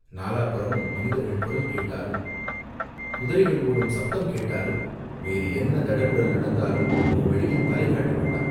நாலா புறமும் மனிதர்கள் குரல் கேட்டாலும் குதிரைகள் ஓடும் சப்தம் கேட்டாலும் வேறு என்ன தடபுடல் நடந்தாலும் நீ வெளியில் தலை காட்ட வேண்டாம்.